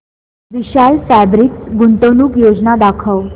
विशाल fabrics गुंतवणूक योजना दाखव